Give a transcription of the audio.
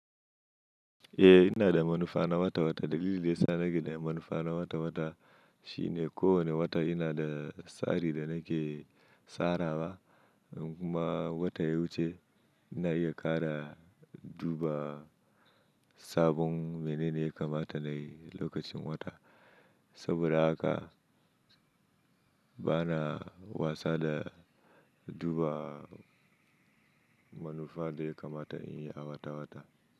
Eh ina da manufa na wata wata. Dalilin da ya sa nake da manufa na wata wata shine ko wane wata ina da tsari da nake tsarawa kuma wata ya wuce ina iya ƙara duba sabon mene ne ya kamata nayi lokacin wata. Saboda haka bana wasa da duba manufa dai kamata in yi a wata wata.